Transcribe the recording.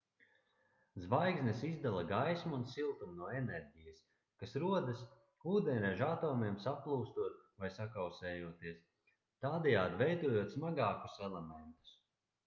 zvaigznes izdala gaismu un siltumu no enerģijas kas rodas ūdeņraža atomiem saplūstot vai sakausējoties tādējādi veidojot smagākus elementus